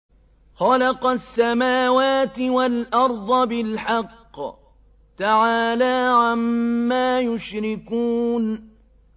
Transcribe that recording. خَلَقَ السَّمَاوَاتِ وَالْأَرْضَ بِالْحَقِّ ۚ تَعَالَىٰ عَمَّا يُشْرِكُونَ